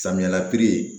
Samiya la piri ye